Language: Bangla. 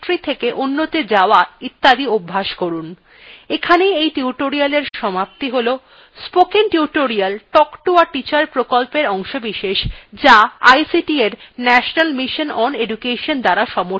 এখানেই এই tutorialএর সমাপ্তি হল spoken tutorial talk to a teacher প্রকল্পের অংশবিশেষ যা ict এর national mission on education দ্বারা সমর্থিত